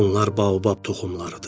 Bunlar baobab toxumlarıdır.